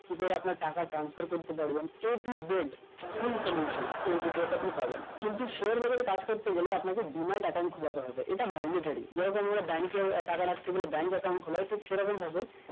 কি করে আপনার টাকা transfer করতে পারবেন A to Z full solution এই video টা তাই পাবেন কিন্তু share বাজারে কাজ করতে গেলে আপনাকে denied account খোলাতে হবে এটা mandotory bank এ টাকা রাখতে গেলে bank account খোলাই তো সেরকম হবে